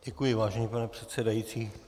Děkuji, vážený pane předsedající.